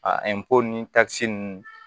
A ninnu